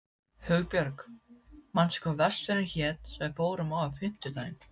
Hugbjörg, manstu hvað verslunin hét sem við fórum í á fimmtudaginn?